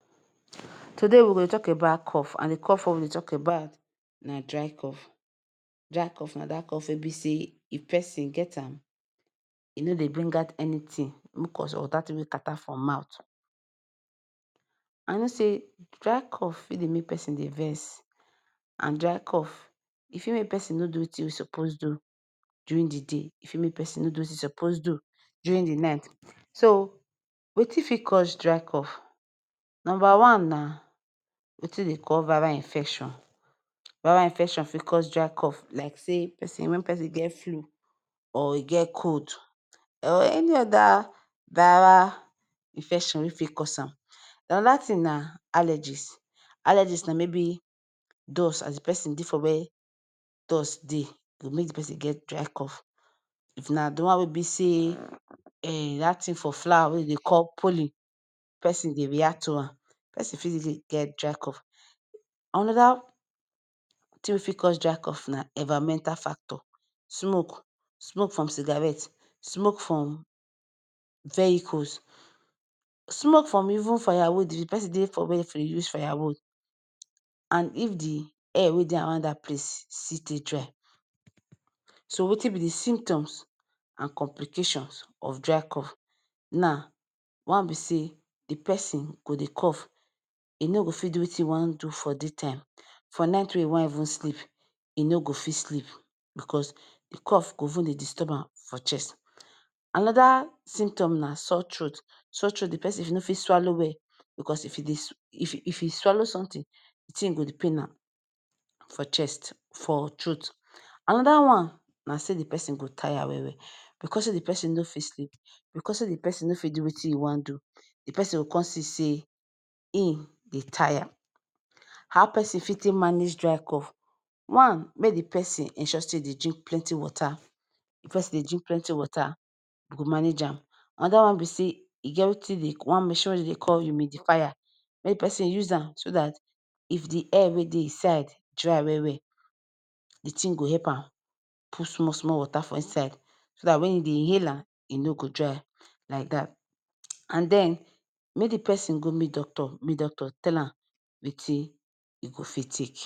Today we go talk about cough and the cough wey we go talk about na dry cough, Dey cough for Dey make person Dey vex and dry cough e fit make person no Dey wetin in suppose do during this he say e for make person no do Wetin e suppose do during the night, so Wetin got cause dry cough number one na Wetin den call viral infection, viral infetion fit cause dry cough like say when person get flu or e get cold or any oda viral infetion wey fit cause am?? anada thing na maybe allergies, allergies na maybe dust as in the person Dey for where dust Dey go make the person get dry cough ,if na the wan wey be say that thing for flower wey dem Dey call pollen, person Dey react to am person fit even get Dey cough, another thing wey wey fit cause dry cough for get Dey cough ,Anada wey for cause dry cough na environmental factor smoke, smoke from cigarette, smoke from vehicles, smoke from even fire wood if the person Dey for where e Dey use firewood and if the air wey Dey around that place still dry so now Wetin be the symptoms and complications of dry cough na one be say the person go Dey cough e no go fit do Wetin e wan do for day time, for night wey e even want sleep e no go fit sleep because the cough go vun Dey disturb am for chest anada symptom na sore throat ,sore throat the person no fit swallow well if e swallow something the thing go Dey pain am for chest for throat another one na say the person go tire well well because say the person no fit sleep because say the person no fit do Wetin e wan do, the person go person go con see say in Dey tire?? How person fit take manage dry cough, one make the person ensure say Dey drink plenty water if d person Dey drink plenty water e go manage am, another wan be say e get Wetin dem Dey ,wan mechine wey dem Dey call humidifier make d person use am so that if air wey Dey inside dry well well the thing go help an put small small water for inside so that when he Dey inhale am e no go Dry like that, and then make d person go meet doctor make doctor tell am Wetin e go fit take